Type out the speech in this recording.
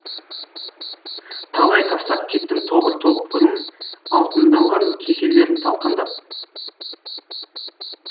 талай тастап кеттім тобыр топырын алтындалған кеселерін талқандап